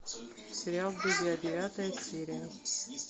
сериал друзья девятая серия